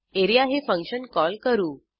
A R E A हे function call करू